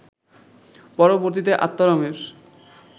পরবর্তীতে আত্মারামের